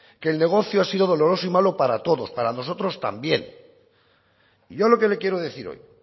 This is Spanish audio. que el negocio ha sido doloroso y malo para todos para nosotros también y yo lo que le quiero decir hoy